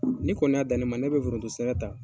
Ni kɔni y'a dan ne ma ne kɔni bɛ forodo sɛnɛ ta